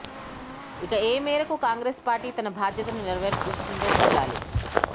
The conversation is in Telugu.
ఇక ఏ మేరకు కాంగ్రెస్ పార్టీ తన బాధ్యతను నేరవేరుస్తుందో చూడాలి